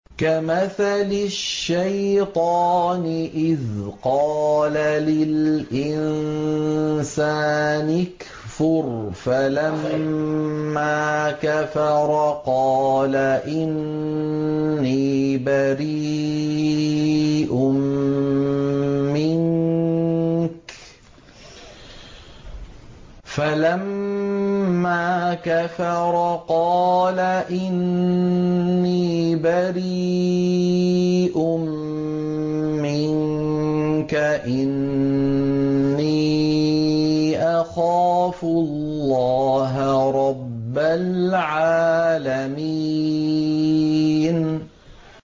كَمَثَلِ الشَّيْطَانِ إِذْ قَالَ لِلْإِنسَانِ اكْفُرْ فَلَمَّا كَفَرَ قَالَ إِنِّي بَرِيءٌ مِّنكَ إِنِّي أَخَافُ اللَّهَ رَبَّ الْعَالَمِينَ